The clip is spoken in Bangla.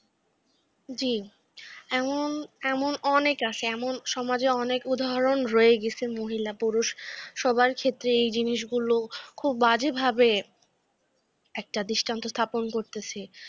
জি । এমন এমন অনেক আছে, এমন সমাজে অনেক উদাহরণ রয়ে গেছে মহিলা পুরুষ সবার ক্ষেত্রে এই জিনিসগুলো খুব বাজেভাবে একটা দৃষ্টান্ত স্থাপন করতেছে।